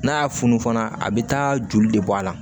N'a y'a funu fana a bɛ taa joli de bɔ a la